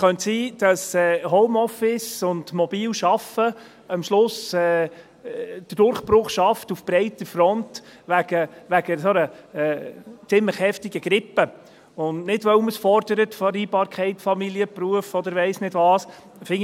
Es könnte sein, dass Homeoffice und mobiles Arbeiten am Schluss wegen einer ziemlich heftigen Grippe auf breiter Front den Durchbruch schaffen, und nicht, weil man die Vereinbarkeit von Familie und Beruf oder weiss ich nicht was fordert.